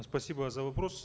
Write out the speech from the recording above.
спасибо за вопрос